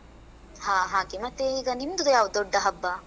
ಹಾ ಹಾಗೆ. ಮತ್ತೆ ಈಗ ನಿಮ್ದು ಯಾವ್ದು ದೊಡ್ಡ ಹಬ್ಬ?